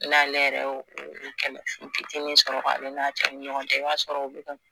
N'ale yɛrɛ ye o kɛlɛ kɛlɛ fitinin sɔrɔ ale n'a cɛ ni ɲɔgɔn cɛ i b'a sɔrɔ o bi ka